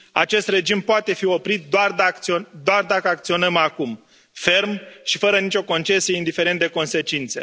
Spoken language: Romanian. Acest regim poate fi oprit doar dacă acționăm acum ferm și fără nici o concesie, indiferent de consecințe.